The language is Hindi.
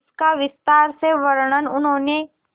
इसका विस्तार से वर्णन उन्होंने